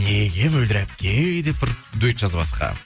неге мөлдір әпке деп бір дуэт жазбасқа